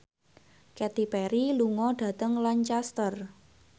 Katy Perry lunga dhateng Lancaster